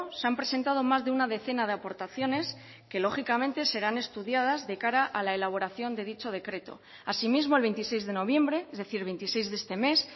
se han presentado más de una decena de aportaciones que lógicamente serán estudiadas de cara a la elaboración de dicho decreto asimismo el veintiséis de noviembre es decir veintiséis de este mes